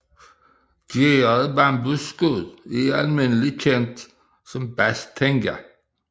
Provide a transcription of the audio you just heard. Gæret bambusskud er almindeligt kendt som bas tenga